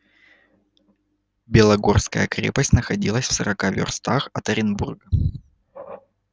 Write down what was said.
белогорская крепость находилась в сорока вёрстах от оренбурга